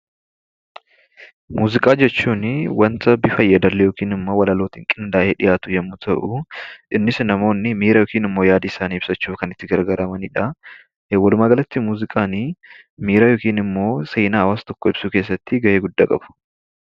Muuziqaa jechuun wanta bifa walaloo yookaan yeedallootiin qindaa'ee dhiyaatu yoo ta'u innis namoonni miira yookiin yaada isaanii ibsachuuf kan itti gargaaramanidha. Walumaa galatti muuziqaan miira yookiin immoo seenaa waan tokkoo ibsuu keessatti gahee guddaa qabu.